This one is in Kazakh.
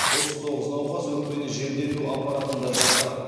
отыз тоғыз науқас өкпені желдету аппаратында жатыр